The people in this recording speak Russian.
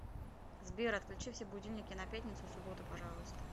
сбер отключи все будильники на пятницу и субботу пожалуйста